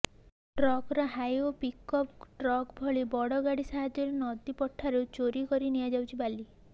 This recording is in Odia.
ଟ୍ରାକ୍ଟର ହାଇଓା ପିକଅପ ଟ୍ରକ ଭଳି ବଡ ଗାଡି ସାହାଯ୍ୟରେ ନଦୀ ପଠାରୁ ଚୋରି କରି ନିଆଯାଉଛି ବାଲି